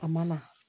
A ma na